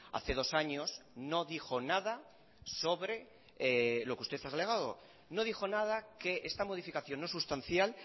hace dos años no dijo nada sobre lo que usted ha alegado no dijo nada que esta modificación no sustancial